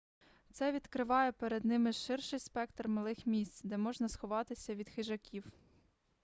це відкриває перед ними ширший спектр малих місць де можна сховатися від хижаків